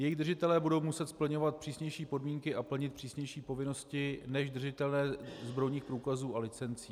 Jejich držitelé budou muset splňovat přísnější podmínky a plnit přísnější povinnosti než držitelé zbrojních průkazů a licencí.